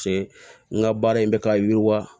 N ka baara in bɛ ka yiriwa